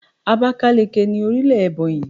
Abákáliki ni orílè Èbònyì